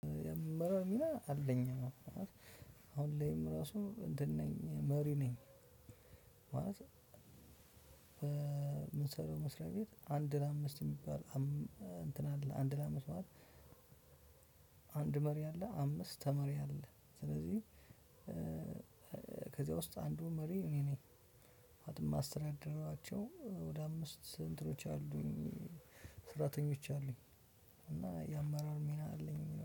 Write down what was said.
የምመራው ሚና አለኝ አዎ አሁን ላይም ራሱ እንትን ነኝ መሪ ነኝ። ማለት እ የምንሰራው መስሪያ ቤት አንድ ለአምስት የሚባል እ እንትን አንድ ለአምስት ማለት። አንድ መሪ አለ አምስት ተመሪ አለ። ስለዚህ እ ከዚያ ውስጥ አንዱ መሪ እኔ ነኝ። ማለትም የማስተዳድራቸው ወደ አምስት እንትኖች አሉኝ። ስራተኞች አሉኝ። እና የአማራር ሚና አለኝ